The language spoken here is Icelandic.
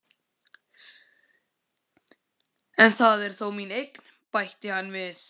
En það er þó mín eign, bætti hann við.